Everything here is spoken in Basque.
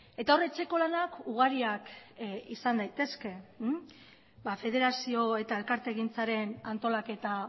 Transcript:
eta hor etxeko lanak ugariak izan daitezke federazio eta elkartegintzaren antolaketa